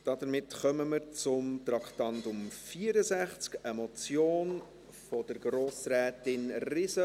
Damit kommen wir zum Traktandum 64, einer Motion von Grossrätin Riesen: